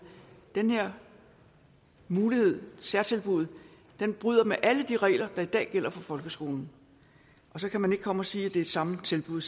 den her mulighed særtilbuddet bryder med alle de regler der i dag gælder for folkeskolen så kan man ikke komme og sige at det samme tilbud